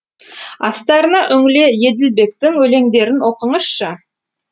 астарына үңіле еділбектің өлеңдерін оқыңызшы